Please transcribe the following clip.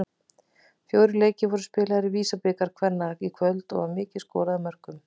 Fjórir leikir voru spilaðir í VISA-bikar kvenna í kvöld og var mikið skorað af mörkum.